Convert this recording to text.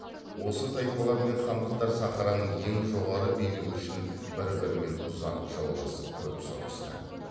осы тайпалар мен хандықтар сахараның ең жоғары билігі үшін бір бірімен ұзақ жауласып көп соғысты